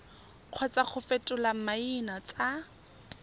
kgotsa go fetola maina tsa